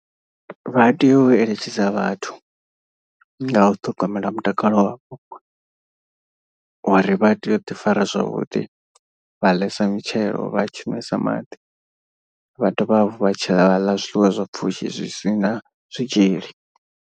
Vha tea u eletshedza vhathu nga u ṱhogomela mutakalo wavho. Uri vha tea u ḓi fara zwavhuḓi vha ḽesa mitshelo vhatshi nwesa maḓi vha dovha hafhu vha tshiḽa vhaḽa zwiḽiwa zwa pfushi zwi si na zwitzhili.